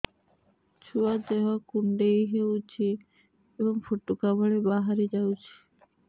ଛୁଆ ଦେହ କୁଣ୍ଡେଇ ହଉଛି ଏବଂ ଫୁଟୁକା ଭଳି ବାହାରିଯାଉଛି